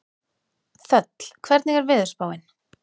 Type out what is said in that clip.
Þöll, hvernig er veðurspáin?